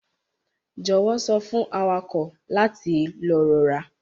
Jọwọ sọ fun awakọ lati lọ rọra.